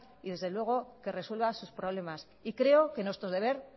y desde luego que resuelva sus problemas y creo que nuestro deber